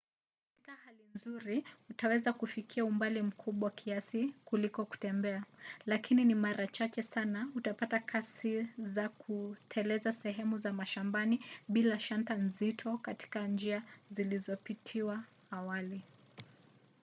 katika hali nzuri utaweza kufikia umbali mkubwa kiasi kuliko kutembea – lakini ni mara chache sana utapata kasi za kuteleza sehemu za mashambani bila shanta nzito katika njia zilizopitiwa awali